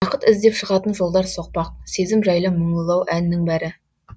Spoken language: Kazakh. бақыт іздеп шығатын жолдар соқпақ сезім жайлы мұңлылау әннің бәрі